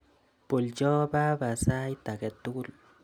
Bolcho baba sait age tugul.